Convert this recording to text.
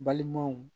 Balimaw